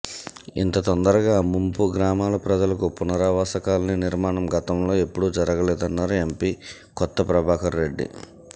ఇంత తొందరగా ముంపు గ్రామాల ప్రజలకు పునరావాస కాలనీ నిర్మాణం గతంలో ఎప్పుడూ జరగలేదన్నారు ఎంపీ కొత్త ప్రభాకర్ రెడ్డి